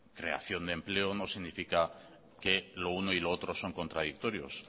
creación de empleo no significa que lo uno y lo otro son contradictorios